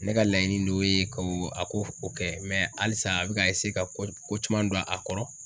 Ne ka laɲini don ye ko a ko kɛ halisa a bɛ ka ka ko caman don a kɔrɔ.